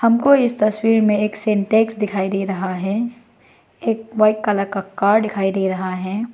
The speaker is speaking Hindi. हमको इस तस्वीर में एक सिंटेक्स दिखाई दे रहा है एक व्हाइट कलर का कार दिखाई दे रहा है।